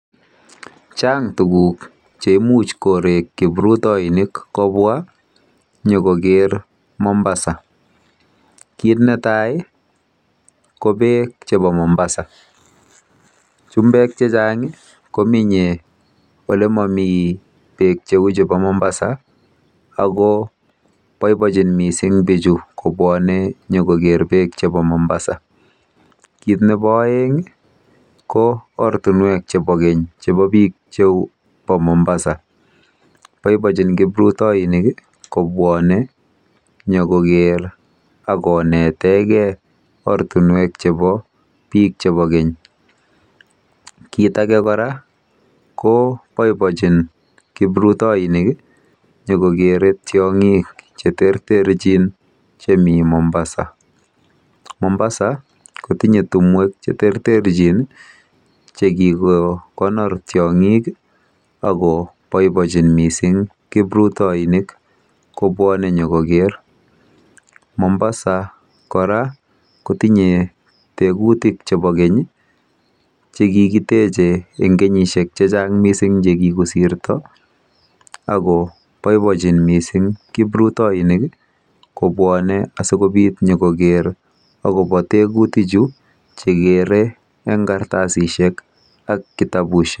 Chang' tuguk che imuch korek kiprutainik kopwa nyu koker Mombasa. Kit ne tai ko peek chepo Mombasa. Chumbek che chang' ko menye ole mami peek cheu chepo Mombasa ako poipochin missing' pichu kopwane nyu kokere peek chepo Mombasa. Kiit nepo aeng' ko ortinwek chepo keny chepo piik Mombasa. Poipochin kiprutoinik kopwane nyu kokere ak konete gei ortinwek chepo pik chepo keny. Kiit age kora ko poipochin kiprutainik nyu kokere tiang'ik che terterchin chemi Mombasa. Mombasa ko tinye timwek che terterchin che kiko konor tiang'ik ako poipochin missing' kiprutonik kopwane nyu koker. Mombasa kora ko tinye tegutik chepo keny che kikiteche eng' kenyishek che chang' che kikosirta ako poipochin missing' kiprutonik kopwane asikopit nyu koker akopa tugutichu che kere eng' kartasishek ak kitapushek.